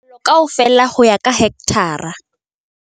Palo kaofela ho ya ka hekthara